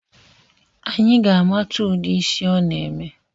Anyi ga-amata udi ịsị ọ na-eme